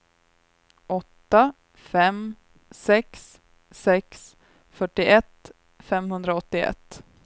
åtta fem sex sex fyrtioett femhundraåttioett